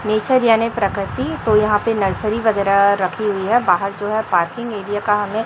nature यानी प्रकृति तो यहां पे नर्सरी वगैरा रखी हुई है बाहर जो है पार्किंग एरिया का हमें--